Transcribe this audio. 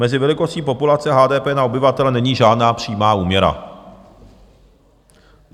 Mezi velikostí populace a HDP na obyvatele není žádná přímá úměra.